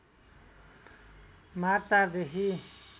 March ४ देखि